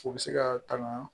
U bɛ se ka tanga